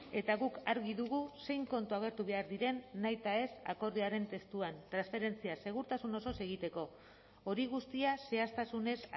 eta guk argi dugu zein kontu agertu behar diren nahitaez akordioaren testuan transferentzia segurtasun osoz egiteko hori guztia zehaztasunez